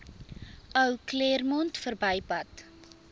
ou claremont verbypad